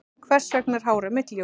Hvers vegna er hárið mitt ljóst?